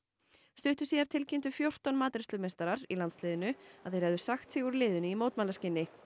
stuttu síðar tilkynntu fjórtán matreiðslumeistarar í landsliðinu að þeir hefðu sagt sig úr liðinu í mótmælaskyni